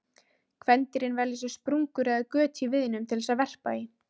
Kvendýrin velja sér sprungur eða göt í viðnum til þess að verpa í.